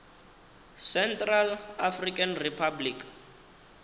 central african republic